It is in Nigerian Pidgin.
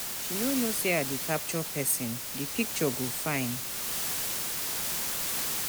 She no know say I dey capture person, the picture go fine